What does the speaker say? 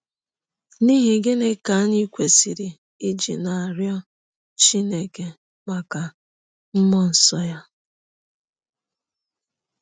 N’ihi gịnị ka anyị kwesịrị iji na - arịọ Chineke maka mmụọ nsọ ya?